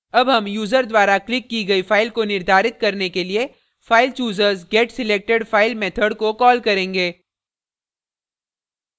अब हम यूजर द्वारा clicked की गई फाइल को निर्धारित करने के लिए filechooser s getselectedfile method को कॉल करेंगे